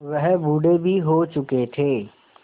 वह बूढ़े भी हो चुके थे